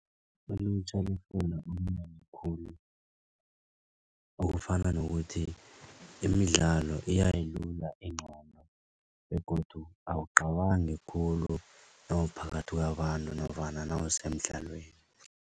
Ilutjha lifunda okunengi khulu okufana nokuthi, imidlalo iyayilula ingqondo begodu awucabangi khulu nawuphakathi kwabantu nofana nawusemdlalweni.